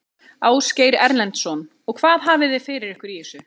Ásgeir Erlendsson: Og hvað hafiði fyrir ykkur í þessu?